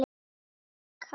Djúpt kafað.